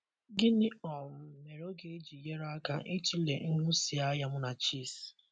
Gịnị um mere ọ ga-eji nyere aka ịtụle nhụsianya Munachi’s?